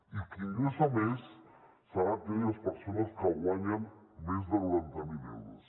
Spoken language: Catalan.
i qui ingressa més seran aquelles persones que guanyen més de noranta mil euros